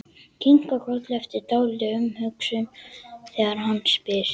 Kinkar kolli eftir dálitla umhugsun þegar hann spyr.